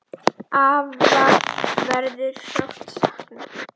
Afa verður sárt saknað.